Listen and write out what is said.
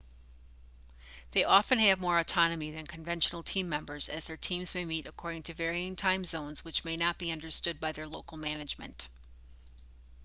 they often have more autonomy than conventional team members as their teams may meet according to varying time zones which may not be understood by their local management